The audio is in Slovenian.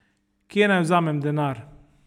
Kje naj vzamem denar?